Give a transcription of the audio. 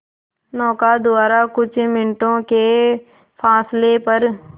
नौका द्वारा कुछ मिनटों के फासले पर